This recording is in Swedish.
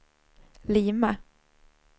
Lima